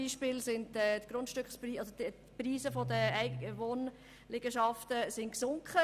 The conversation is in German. Beispielsweise sind die Preise der Wohnliegenschaften im Jura gesunken.